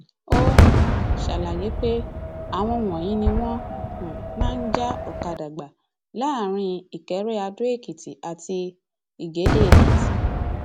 ó um ṣàlàyé pé àwọn wọnyí ni wọn um máa ń já ọkadà gbà láàrin ìkẹrẹàdóèkìtì àti ìgédéèkìtì